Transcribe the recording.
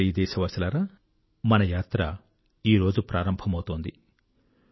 నా ప్రియ దేశవాసులారా మన యాత్ర ఈరోజు ప్రారంభమవుతున్నది